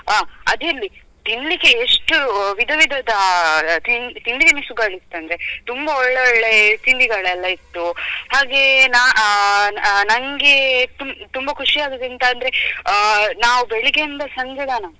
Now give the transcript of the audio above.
ಅ ಅದಿರ್ಲಿ ತಿನ್ಲಿಕ್ಕೆ ಎಷ್ಟು ವಿಧವಿಧದ ಆ ತಿಂ~ ತಿಂಡಿ ತಿನಿಸುಗಳು ಇತ್ತಂದ್ರೆ ತುಂಬ ಒಳ್ಳೆ ಒಳ್ಳೆ ತಿಂಡಿಗಳೆಲ್ಲಾ ಇತ್ತು ಹಾಗೇ ನ ಆ ನನ್ಗೆ ತುಂ~ ತುಂಬ ಖುಷಿ ಆದದ್ದು ಎಂತ ಅಂದ್ರೆ ಅ ನಾವು ಬೆಳಿಗ್ಗೆಯಿಂದ ಸಂಜೆ ತನಕ.